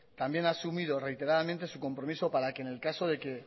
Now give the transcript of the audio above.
también ha asumido reiteradamente su compromiso para que en el caso de que